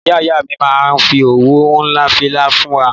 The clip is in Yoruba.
Ìyá Ìyá mi ma fi òwú hun fila fún mi